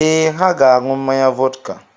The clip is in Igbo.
Ee, ha ga-aṅụ mmanya vọdka.